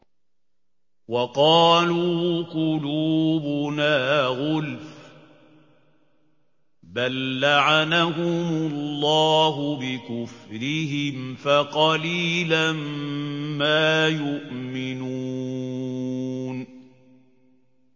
وَقَالُوا قُلُوبُنَا غُلْفٌ ۚ بَل لَّعَنَهُمُ اللَّهُ بِكُفْرِهِمْ فَقَلِيلًا مَّا يُؤْمِنُونَ